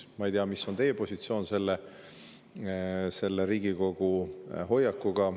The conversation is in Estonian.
Ma ei tea, mis on teie positsioon selle Riigikogu.